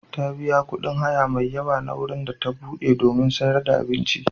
Ta biya kuɗin haya mai yawa na wurin da ta buɗe domin sayar da abinci.